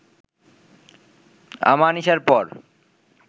আমানিশার পর